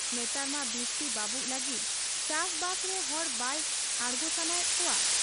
ᱱᱮᱛᱟᱨ ᱢᱟ ᱵᱤᱥᱛᱤ ᱵᱟᱹᱵᱩᱜ ᱞᱟᱹᱜᱤᱫ ᱪᱟᱥᱵᱟᱥᱨᱮ ᱦᱚᱲ ᱵᱟᱭ ᱟᱬᱜᱚ ᱥᱟᱱᱟᱭᱮᱫ ᱠᱚᱣᱟ ᱾